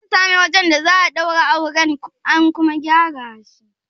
An sami wajen da za a daura auren, an kuma gyara shi?